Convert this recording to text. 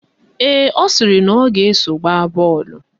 Ee, ọ sịrị na ọ ga-eso gbaa bọọlụ